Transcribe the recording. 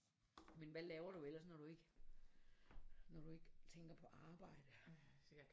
Men hvad laver du ellers når du ikke når du ikke tænker på arbejde?